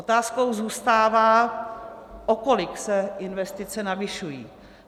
Otázkou zůstává, o kolik se investice navyšují.